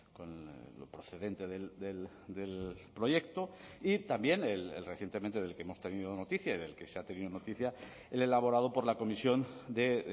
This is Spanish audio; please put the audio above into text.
con lo procedente del proyecto y también el recientemente del que hemos tenido noticia y del que se ha tenido noticia el elaborado por la comisión de